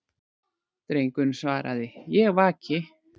Drengurinn svaraði:-Ég vaki.